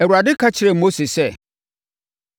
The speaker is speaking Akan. Awurade ka kyerɛɛ Mose sɛ,